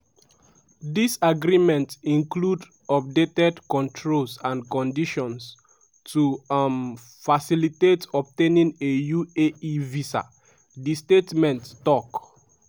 dis agreement include updated controls and conditions to um facilitate obtaining a uae visa" di statement tok.